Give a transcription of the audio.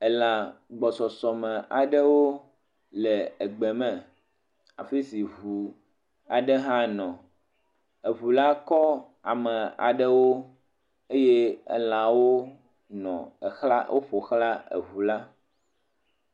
Elã gbɔsɔsɔ me aɖewo le egbe me afi si ŋu aɖe hã nɔ, eŋu la kɔ ame aɖewo eye elãwo nɔ exla woƒoxla eŋu la.